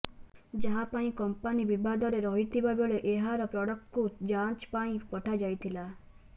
ଯାହା ପାଇଁ କମ୍ପାନି ବିବାଦରେ ରହିଥିବା ବେଳେ ଏହାର ପ୍ରଡକ୍ଟକୁ ଯାଞ୍ଚ ପାଇଁ ପଠାଯାଇଥିଲା